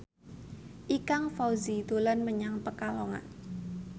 Ikang Fawzi dolan menyang Pekalongan